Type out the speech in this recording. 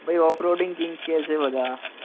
ભાઈ off roading king કે છે બધા